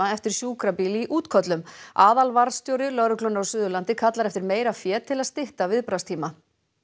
eftir sjúkrabíl í útköllum aðalvarðstjóri lögreglunnar á Suðurlandi kallar eftir meira fé til að stytta viðbragðstíma